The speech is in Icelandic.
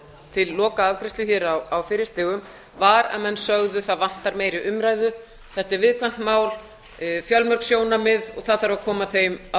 til lokaafgreiðslu hér á fyrri stigum var að menn sögðu það vantar meiri umræðu þetta er viðkvæmt mál fjölmörg sjónarmið það þarf að koma þeim á